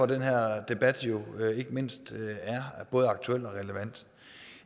den her debat jo ikke mindst er både aktuel og relevant